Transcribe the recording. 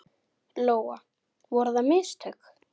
Lóa: Voru það mistök?